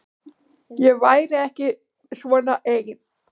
Ég væri ekki svona ein.